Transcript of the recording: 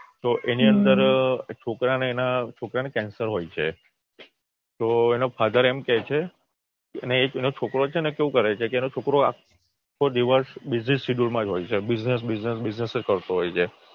તો એની અંદર છોકરાને એના છોકરાને કેન્સર હોય છે તો એના ફાધર એમ કે છે એનો છોકરો છે ને કેવું કરે છે આખો દિવસ બીઝી સિડ્યુલમાં જ હોય છે બિઝનેસ બિઝનેસ બિઝનેસ જ કરતો હોય છે